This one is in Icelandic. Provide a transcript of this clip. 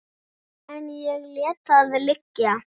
En ég lét það liggja.